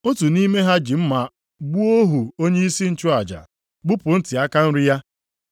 Otu nʼime ha ji mma gbuo ohu onyeisi nchụaja, gbupụ ntị aka nri ya.